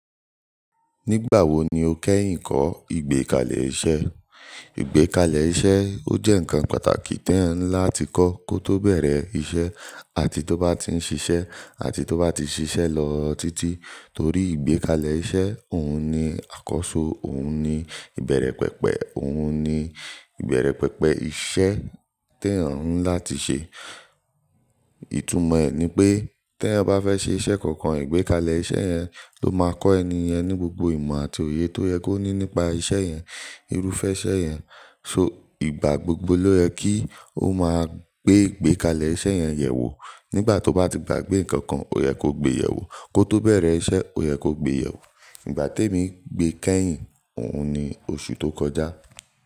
Nígbà wo ni o kẹ́yìn kọ́ ìgbékalẹ̀ iṣẹ́? Ìgbékalẹ̀ iṣẹ́ ó jẹ́ ǹkan pàtàkì tí ẹ̀eyan n lá ti kọ́ kó tó bẹ̀rẹ̀ iṣẹ́ àti tó bá ti ń ṣiṣẹ́ àti tó bá ti ṣiṣẹ́ lọ títí. Torí ìgbékalẹ̀ iṣẹ́ òun ni àkóso, òun ni ìbẹ̀rẹ̀ pẹpẹ, òun ni ìbẹ̀rẹ̀ pẹpẹ iṣẹ́ tí ẹ̀eyan nlá ti ṣe. Ìtumọ̀ ẹ ní pé tí ẹ bá fẹ́ ṣe iṣẹ́ kankan ìgbékalẹ̀ iṣẹ́ yẹn ló máa kọ́ ẹni yẹn ní gbogbo ìmọ̀ àti òye tó yẹ kó ní nípa iṣẹ́ yẹn, irúfẹ́ iṣẹ́ yẹn. So ìgbà gbogbo ló yẹ kí ó máa gbé ìgbékalẹ̀ iṣẹ́ yẹn yẹ̀ wò. Nígbà tó bá ti gbàgbé nǹkan kan, ó yẹ kó gbé yẹ̀ wò. Kó tó bẹ̀rẹ̀ iṣẹ́, ó yẹ kó gbé yẹ̀ wò. Ìgbà tí èmi gbé kẹ́yìn òun ni oṣù tó kọjá.